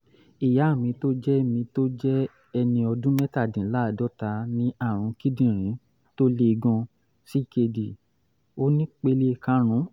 ìyá mi tó jẹ́ mi tó jẹ́ ẹni ọdún mẹ́tàdínláàádọ́ta ní àrùn kíndìnrín tó le gan-an ckd onípele karùn-ún